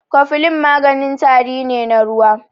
Kofilin maganin tari ne na ruwa.